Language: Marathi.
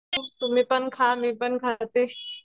तुम्ही पण खा मी पण खाते.